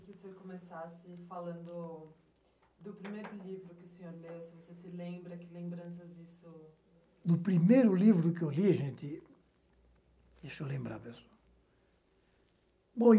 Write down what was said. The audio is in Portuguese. Eu gostaria que o senhor começasse falando do primeiro livro que o senhor leu, se você se lembra, que lembranças isso... Do primeiro livro que eu li, gente... Deixa eu lembrar mesmo.